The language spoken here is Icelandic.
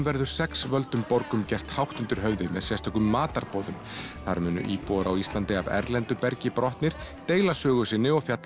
verður sex völdum borgum gert hátt undir höfði með sérstökum matarboðum þar munu íbúar á Íslandi af erlendu bergi brotnir deila sögu sinni og fjalla